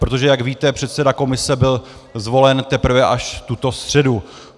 Protože jak víte, předseda komise byl zvolen teprve až tuto středu.